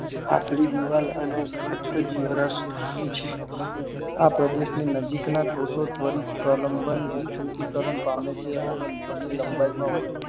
પાતળી દીવાલ અને ઘાટ જીવ રસ ધરાવે છે આ પ્રદેશ ની નજીક ના કોષો તવરુત સ્વાલંબન વિશ્રુતિકરણ પામે છે કરે છે અને મૂળ ની લંબાઈ માં વધારો